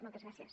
moltes gràcies